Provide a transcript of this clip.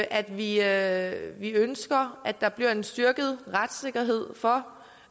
at vi at vi ønsker at der bliver en styrket retssikkerhed for